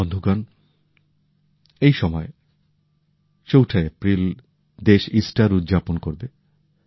বন্ধুরা চৌঠা এপ্রিল দেশ ইস্টার উদযাপন করবে